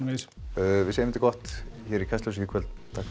við segjum þetta gott hér í Kastljósi í kvöld takk fyrir